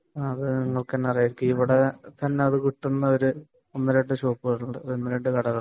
അത് നിങ്ങൾക്ക് തന്നെ അറിയാരിക്കും . ഇവിടെ അത് കിട്ടുന്ന ഷോപ്പുകൾ ഉണ്ട് ഒന്ന് രണ്ടു കടകൾ